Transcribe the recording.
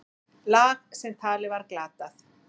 Lag sem talið var glatað.